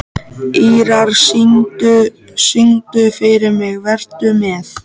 Ýrar, syngdu fyrir mig „Vertu með“.